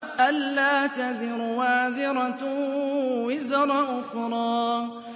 أَلَّا تَزِرُ وَازِرَةٌ وِزْرَ أُخْرَىٰ